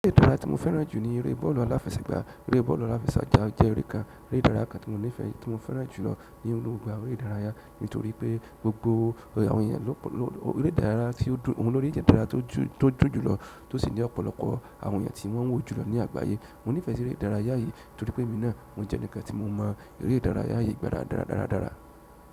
Eré ìdárayá tí mo fẹ́ràn jù ní eré bọ́ọ̀lù aláfẹsẹ̀gbá. Ẹ̀rè bọ̀ọ̀lù aláṣẹ́gba jẹ́ ẹ̀rè ìdáráyà kan tí mo fẹ́ràn jùlọ nínú gbogbo àwọn ẹ̀rè ìdáráyà nítorí pé gbogbo àwọn ènìyàn òun ni ẹ̀rè ìdáráyà tí ó dún jùlọ tòsí ní ọ̀pọ̀lọpọ̀ àwọn ènìyàn tí wọ́n wò ní àgbáyé. Mo nífẹ̀ẹ́ si eré ìdárayá yìí nítorí pé èmi náà, mo jẹ́ enikan tí mo mọ̀ eré ìdárayá yìí dára dára dára.